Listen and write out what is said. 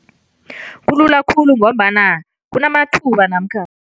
Kulula khulu ngombana kunamathuba namkha